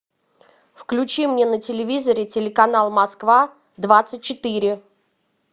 включи мне на телевизоре телеканал москва двадцать четыре